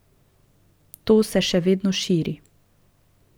To se še vedno širi.